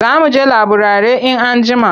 Za mu je laburare in anjima.